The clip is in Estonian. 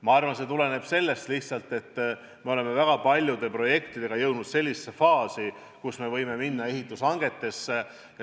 Ma arvan, see tuleneb lihtsalt sellest, et oleme väga paljude projektidega jõudnud faasi, kus me võime minna edasi ehitushangetega.